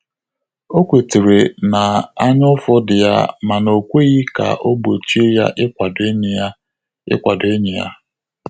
O kwetere na anya ụfụ dị ya mana o kweghị ka o gbochie ya ikwado enyi ya ikwado enyi ya